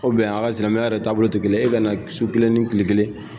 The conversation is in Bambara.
O a' ka silamɛya yɛrɛ taabolo tɛ kelen ye e ka na su kelen ni tile kelen